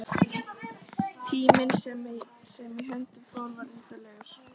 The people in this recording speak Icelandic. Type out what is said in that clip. Tíminn sem í hönd fór var undarlegur.